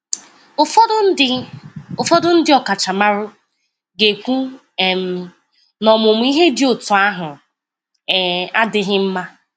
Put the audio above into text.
Ụfọdụ ndị Ụfọdụ ndị ọkachamara ga-ekwu um na ọmụmụ ihe dị otú ahụ um adịghị mma.